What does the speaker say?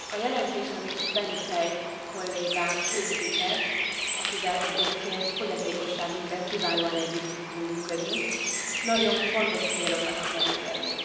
A jelentés, amit Benifei kollégám készített akivel egyébként fogyatékosságügyben kiválóan együtt tudtunk működni nagyon fontos célokat akar elérni.